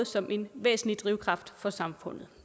som en væsentlig drivkraft for samfundet